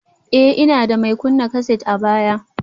Ee, ina da mai kunna kaset a baya